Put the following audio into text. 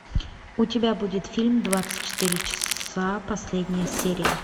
у тебя будет фильм двадцать четыре часа последняя серия